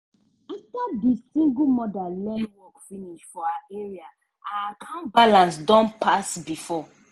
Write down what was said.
after di single mother learn work finish for her area her account balance don pass before.